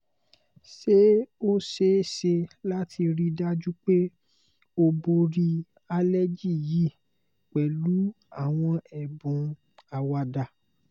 ṣé o ṣee ṣe lati rii daju pe o bori aleji yi pẹlu àwọn ẹ̀bùn àwàdá?